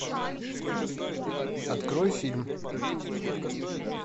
открой фильм